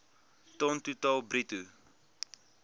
ton totaal bruto